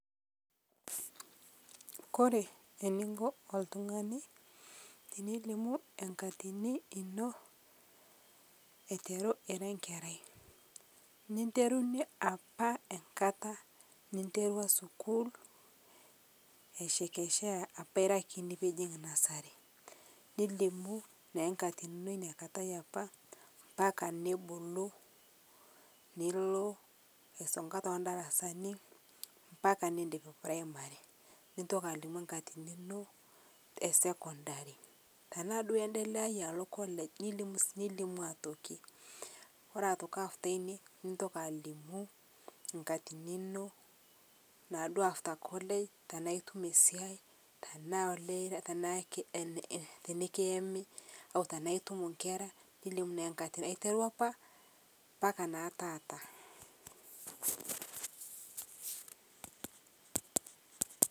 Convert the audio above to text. Ekore eninko oltung'ani tinilimu nkatinii inoo aiteruu iraa nkerai ninterunye apaa enkataa niterua sukuul eichekechea apaa iraa kinii piijing nursery nilimuu naa nkatinii inoo apaa mpaka nibuluu niloo aisong'a tendarasanii mpaka nindip primary nintoki alimuu nkatinii inoo ee secondary tanaa duo iendeleaye aloo college nilimuu otokii, kore otokii after inie nintoki alimuu nkatinii inoo naaduo after college tanaa itumo siai tanaa olee iraa tanaa tikiyemii otanaa itumoo nkera nilimu naa nkatini aiteruu apaa mpaka naa taata.